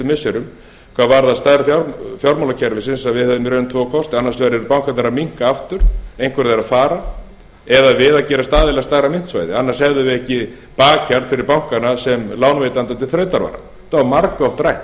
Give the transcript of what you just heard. missirum hvað varðaði stærð fjármálakerfisins að við hefðum í raun tvo kosti annars vegar yrðu bankarnir að minnka aftur einhver þeirra að fara eða við að gerast aðilar að stærra myntsvæði annars hefðum við ekki bakland fyrir bankana sem lánveitandi til þrautavara þetta var margoft rætt og